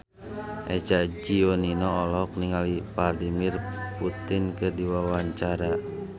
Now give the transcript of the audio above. Eza Gionino olohok ningali Vladimir Putin keur diwawancara